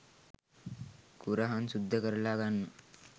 කුරහන් සුද්ද කරල ගන්න